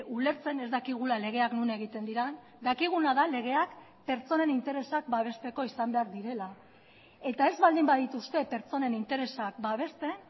ulertzen ez dakigula legeak non egiten diren dakiguna da legeak pertsonen interesak babesteko izan behar direla eta ez baldin badituzte pertsonen interesak babesten